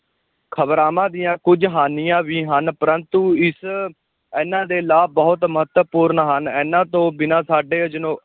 ਖ਼ਬਰਾਵਾਂ ਦੀਆਂ ਕੁੱਝ ਹਾਨੀਆਂ ਵੀ ਹਨ ਪਰੰਤੂ ਇਸ ਇਹਨਾਂ ਦੇ ਲਾਭ ਬਹੁਤ ਮਹੱਤਵਪੂਰਨ ਹਨ, ਇਨ੍ਹਾਂ ਤੋਂ ਬਿਨਾਂ ਸਾਡੇ